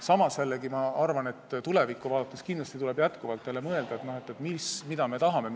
Samas jällegi arvan, et tulevikku vaadates tuleb kindlasti mõelda, millist äri me tahame.